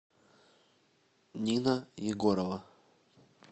нина егорова